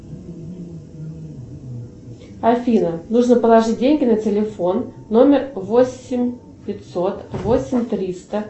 афина нужно положить деньги на телефон номер восемь пятьсот восемь триста